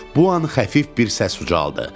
Bu an xəfif bir səs ucaldı.